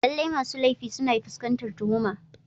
Lallai masu laifi suna fuskantar tuhuma.